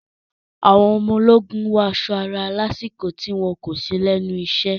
Àwọn ọmọ ológun wọ aṣọ ara lásìkò tí wọn kò sí lẹ́nu isẹ́.